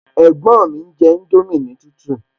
Ẹ̀gbọ́n mi ń jẹ indomie ní tútù